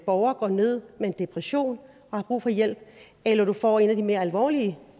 borger går ned med en depression og har brug for hjælp eller du får en af de mere alvorlige